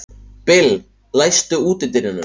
Bill, læstu útidyrunum.